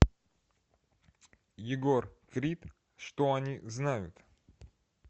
егор крид что они знают